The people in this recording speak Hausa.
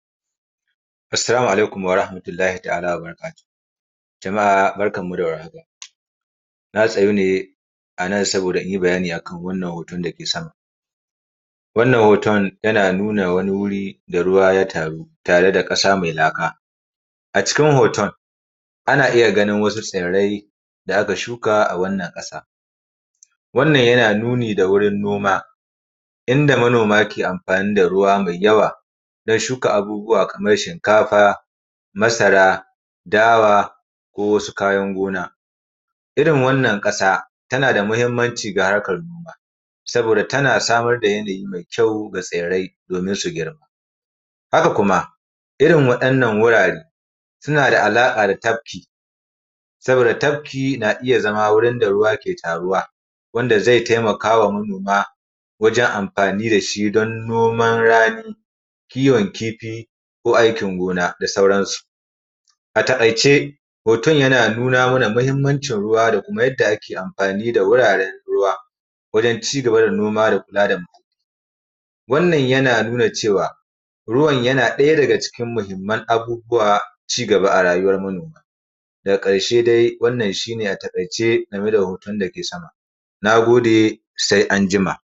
Assalamu alaikum warahamatullahi ta'ala wabarakatuhu jama'a barkanmu da war haka na tsayu ne anan zan ɗan yi bayani a kan hoton. Wannan hoton yana nuna wani wuri da ruwa ke taruwa tare da ƙasa mai laka. A cikin hoto ana iya ganin wasu tsirrai da aka shuka a wannan ƙasa wannan yana nuni da wurin noma, inda manoma ke anfani da ruwa da yawa don shuka abubuwa kamar shinkafa, masara dawa ko wasu kayan gona irin wannan ƙasa tana da mahimmanci sosai ga harkar noma saboda tana samar da yanayi mai ƙyau ga tsirrai don su girma haka kuma irin waɗannan wurare suna da alaƙa da tafki. Saboda tafki yana zama wurin da ruwa ke taruwa zai taimaka wa manoma da yadda suke noman rani kiwon kifi ko aikin gona da sauransu. A taƙaice hoton yana nuna mana mahimmanci ruwa da yadda ake anfani da wuraren ruwa wajen ci gaba da noma da kula da Wannan yana nuna cewa ruwan yana ɗaya daga cikin muhimman abubuwan ci gaba a ruyuwar manoma. Daga karshe dai wannan shi ne a takaice game da hoton dake sama.